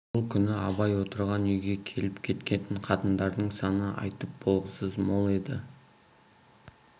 бұл күні абай отырған үйге келіп кеткен қатындардың саны айтып болғысыз мол еді